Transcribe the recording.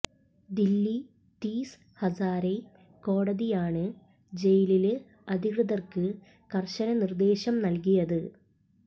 ദില്ലി തീസ് ഹസാരെ കോടതിയാണ് ജയില് അധികൃതര്ക്ക് കര്ശന നിര്ദേശം നല്കിയത്